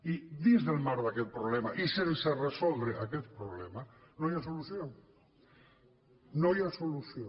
i dins del marc d’aquest problema i sense resoldre aquest problema no hi ha solució no hi ha solució